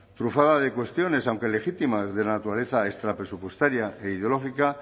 trufada de cuestiones aunque legítimas de naturaleza extrapresupuestaria e ideológica